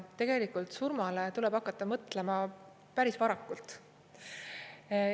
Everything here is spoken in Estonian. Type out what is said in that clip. Ja tegelikult surmale tuleb hakata mõtlema päris varakult.